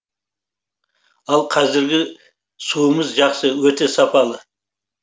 ал қазіргі суымыз жақсы өте сапалы